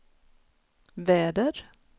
väder